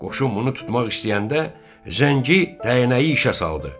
Qoşun bunu tutmaq istəyəndə, Zəngi dəynəyi işə saldı.